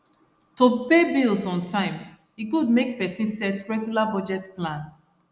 to pay bills on time e good make person set regular budget plan